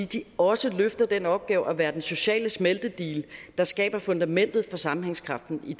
de også løfter den opgave at være den sociale smeltedigel der skaber fundamentet for sammenhængskraften i